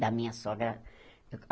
da minha sogra.